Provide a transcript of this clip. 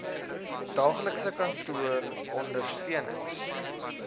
daaglikse kantoor ondersteunings